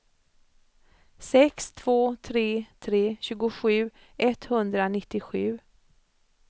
sex två tre tre tjugosju etthundranittiosju